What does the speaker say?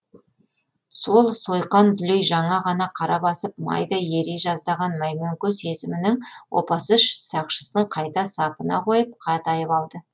сол сойқан дүлей жаңа ғана қара басып майдай ери жаздаған мәймөңке сезімінің опасыз сақшысын қайта сапына қойып қатайып алды